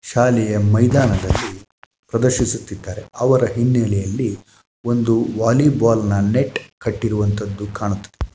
ಶಾಲೆಯ ಮೈದಾನದಲ್ಲಿ ಪ್ರದರ್ಶಿಸುತ್ತಿದ್ದಾರೆ ಅವರ ಹಿನ್ನಲೆಯಲ್ಲಿ ಒಂದು ವಾಲಿಬಾಲ್‌ನ ನೆಟ್‌ ಕಟ್ಟಿರುವಂತಹುದು ಕಾಣತ್ತದೆ .